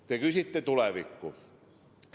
Te küsite tuleviku kohta.